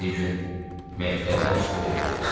Bir gün məktəbdən çıxıb evə gedirdi.